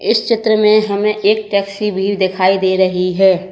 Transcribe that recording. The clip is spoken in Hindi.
इस चित्र में हमें एक टैक्सी भी दिखाई दे रही है।